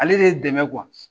Ale de y'i dɛmɛ .